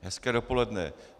Hezké dopoledne.